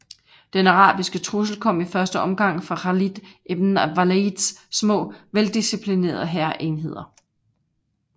Den arabiske trussel kom i første omgang fra Khalid ibn Walids små veldisciplinerede hærenheder